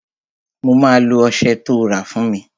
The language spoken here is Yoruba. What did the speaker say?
Mo máa lo ọsẹ tó rà fún mi